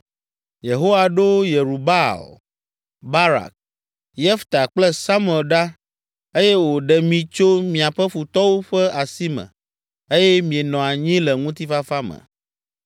Yehowa ɖo Yerubaal, Barak, Yefta kple Samuel ɖa eye wòɖe mi tso miaƒe futɔwo ƒe asime eye mienɔ anyi le ŋutifafa me.